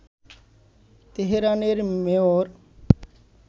তেহরানের মেয়র